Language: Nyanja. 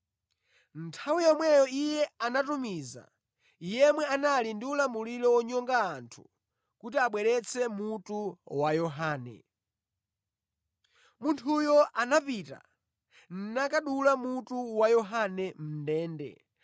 Nthawi yomweyo iye anatumiza yemwe anali ndi ulamuliro wonyonga anthu kuti abweretse mutu wa Yohane. Munthuyo anapita, nakadula mutu wa Yohane mʼndende,